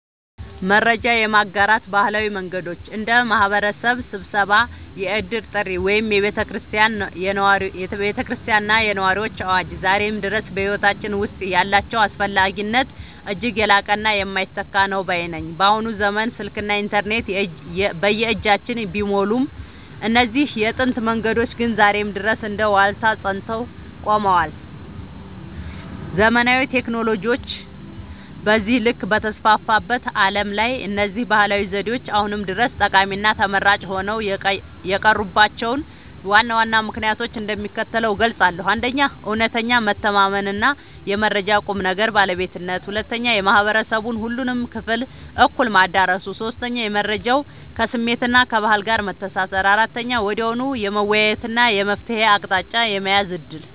መረጃ የማጋራት ባህላዊ መንገዶች (እንደ ማኅበረሰብ ስብሰባ፣ የዕድር ጥሪ ወይም የቤተ ክርስቲያንና የነዋሪዎች አዋጅ) ዛሬም ድረስ በሕይወታችን ውስጥ ያላቸው አስፈላጊነት እጅግ የላቀና የማይተካ ነው ባይ ነኝ። በአሁኑ ዘመን ስልክና ኢንተርኔት በየእጃችን ቢሞሉም፣ እነዚህ የጥንት መንገዶች ግን ዛሬም ድረስ እንደ ዋልታ ጸንተው ቆመዋል። ዘመናዊ ቴክኖሎጂዎች በዚህ ልክ በተስፋፉበት ዓለም ላይ፣ እነዚህ ባህላዊ ዘዴዎች አሁንም ድረስ ጠቃሚና ተመራጭ ሆነው የቀሩባቸውን ዋና ዋና ምክንያቶች እንደሚከተለው እገልጻለሁ፦ 1. እውነተኛ መተማመንና የመረጃው ቁም ነገር (ባለቤትነት) 2. የማኅበረሰቡን ሁሉንም ክፍል እኩል ማዳረሱ 3. የመረጃው ከስሜትና ከባህል ጋር መተሳሰር 4. ወዲያውኑ የመወያየትና የመፍትሔ አቅጣጫ የመያዝ ዕድል